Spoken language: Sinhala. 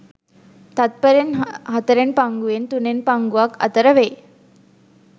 තත්ත්පරෙන් හතරෙන් පංගුවෙන් තුනෙන් පංගුවක් අතර වේ.